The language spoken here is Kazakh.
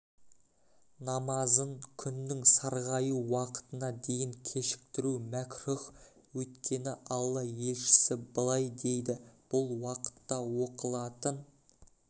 намазын күннің сарғаю уақытына дейін кешіктіру мәкрүһ өйткені алла елшісі былай дейді бұл уақытта оқылатын